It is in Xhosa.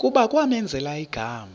kuba kwamenzela igama